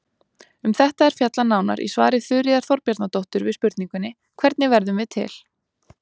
Um þetta er fjallað nánar í svari Þuríðar Þorbjarnardóttur við spurningunni Hvernig verðum við til?